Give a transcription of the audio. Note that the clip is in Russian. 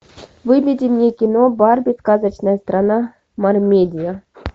выведи мне кино барби сказочная страна мермедия